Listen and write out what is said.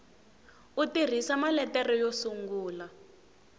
u tirhisa maletere yo sungula